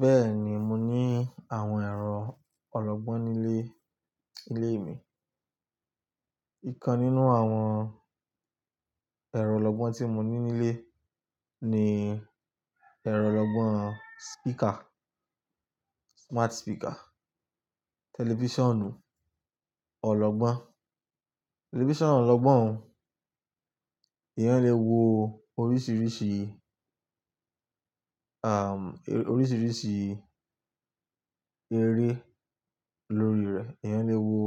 Bẹ́ẹ̀ni, mo ní àwọn ẹ̀rọ ọlọ́gbọ́n nílé ilé mi. Ìkan nínú àwọn ẹ̀rọ ọlọ́gbọ́n tí mo ní nílé ni ẹ̀rọ ọlọ́gbọ́n speaker, smart speaker, tẹlifíṣànù ọlọ́gbọ́n. Tẹlifíṣàn ọlọ́gbọ́n, èèyàn lè wo oríṣìíríṣìí, àm, oríṣìíríṣìí eré lórí rẹ̀, èèyàn lè wo